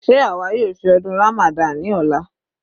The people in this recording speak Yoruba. Sé àwa yóò ṣe ọdún Ramadan ní ọ̀la?